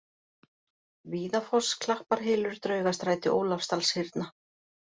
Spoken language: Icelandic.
Víðafoss, Klapparhylur, Draugasæti, Ólafsdalshyrna